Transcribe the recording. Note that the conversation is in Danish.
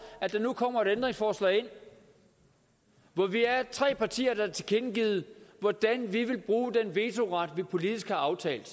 at der nu kommer et ændringsforslag hvor vi er tre partier der har tilkendegivet hvordan vi vil bruge den vetoret vi politisk har aftalt